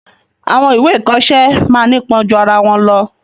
Àwọn ìwé ìkoọsẹ́ máa ńipon ju arawọn lọ